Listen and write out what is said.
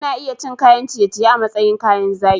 Ana iya cin kayan ciye-ciye a matsayin kayan zaki.